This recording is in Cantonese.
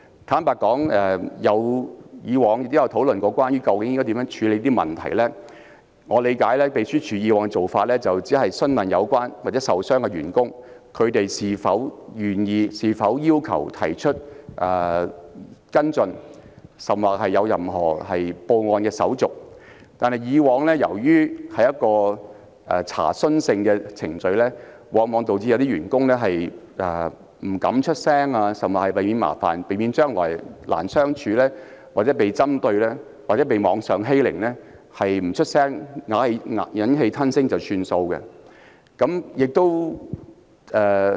坦白說，以往亦曾討論究竟應如何處理有關問題，據我理解，秘書處以往的做法只是詢問有關員工或受傷員工是否願意或是否要求跟進，甚至報案，但由於以往的程序只屬查詢性質，往往導致有些員工為避免麻煩、難以相處、被針對或網上欺凌，因而選擇不發聲、忍氣吞聲作罷。